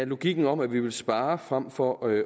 logikken om at vi vil spare frem for at